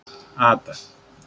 Ada